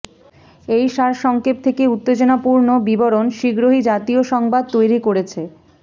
এই সারসংক্ষেপ থেকে উত্তেজনাপূর্ণ বিবরণ শীঘ্রই জাতীয় সংবাদ তৈরি করেছে